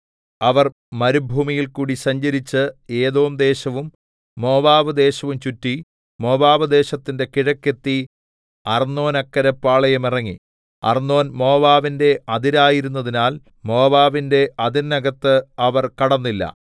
അവർ മരുഭൂമിയിൽക്കൂടി സഞ്ചരിച്ച് ഏദോം ദേശവും മോവാബ് ദേശവും ചുറ്റി മോവാബ് ദേശത്തിന്റെ കിഴക്ക് എത്തി അർന്നോന്നക്കരെ പാളയമിറങ്ങി അർന്നോൻ മോവാബിന്റെ അതിരായിരുന്നതിനാൽ മോവാബിന്റെ അതിരിനകത്ത് അവർ കടന്നില്ല